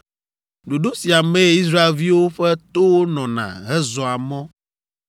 Ɖoɖo sia mee Israelviwo ƒe towo nɔna hezɔa mɔ.